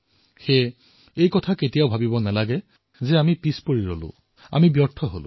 সেইবাবে আমি কেতিয়াও এই কথা ভাবিব নালাগে যে আমি পিছুৱাই থাকিলো